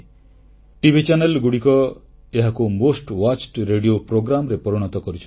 TV ଚାନେଲଗୁଡ଼ିକ ଏହାକୁ ସର୍ବାଧିକ ଦର୍ଶନୀୟ ରେଡିଓ କାର୍ଯ୍ୟକ୍ରମରେ ପରିଣତ କରିଛନ୍ତି